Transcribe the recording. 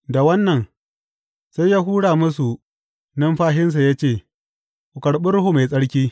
Da wannan sai ya hura musu numfashinsa ya ce, Ku karɓi Ruhu Mai Tsarki.